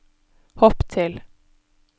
hopp til